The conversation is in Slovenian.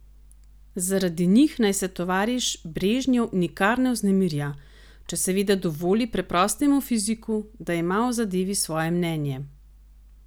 Zaradi njih naj se tovariš Brežnjev nikar ne vznemirja, če seveda dovoli preprostemu fiziku, da ima o zadevi svoje mnenje?